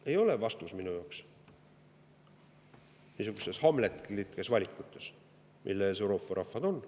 See ei ole minu arvates vastus niisuguste hamletlike valikute puhul, mille ees Euroopa rahvad on.